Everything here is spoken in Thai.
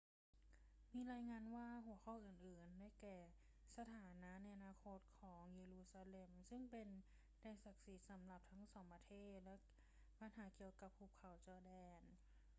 มีรายงานว่าหัวข้ออื่น ๆ ได้แก่ สถานะในอนาคตของเยรูซาเล็มซึ่งเป็นแดนศักดิ์สิทธิ์สำหรับทั้งสองประเทศและปัญหาเกี่ยวกับหุบเขาจอร์แดน